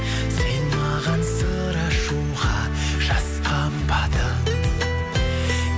сен маған сыр ашуға жасқанбадың